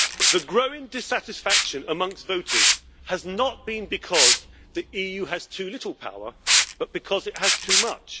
The growing dissatisfaction amongst voters has not been because the EU has too little power, but because it has too much.